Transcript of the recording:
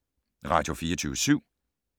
Radio24syv